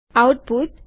output